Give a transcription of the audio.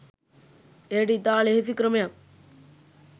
එයට ඉතා ලෙහෙසි ක්‍රමයක්